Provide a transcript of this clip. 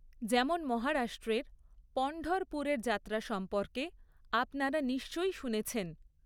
যেমন মহারাষ্ট্রের পনঢরপুরের যাত্রা সম্পর্কে আপনারা নিশ্চয়ই শুনেছেন।